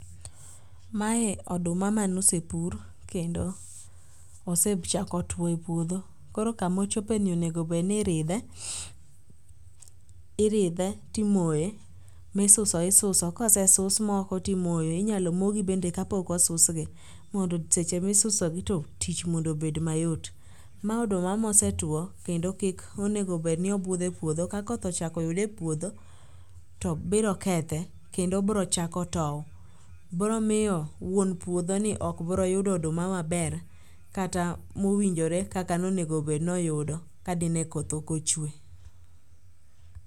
Mae oduma manosepur kendo osechako tuo e puodho. Koro kamochope ni onego bed ni iridhe iridhe timoye. Misuso isuso. Kosesus moko timoyo. Inyalo mo gi bende ka pok osus gi. Mondo seche misuso gi to tich mondo obed mayot. Ma oduma mosetuo kendokik onengo bed ni obudho e puodho. Ka koth ochak oyude e puodho to biro kethe kendo biro chako tow. Biro miyo wuon puodho ni ok biro yudo oduma maber kata mowinjore kaka nonego bed ni oyudo kla di ne koth ok ochwe.